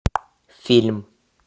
фильм